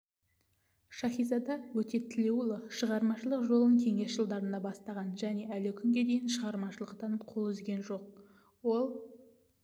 шаһизада өтетілеуұлы шығармашылық жолын кеңес жылдарында бастаған және әлі күнге дейін шығармашылықтан қол үзген жоқ ол